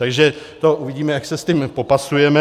Takže to uvidíme, jak se s tím popasujeme.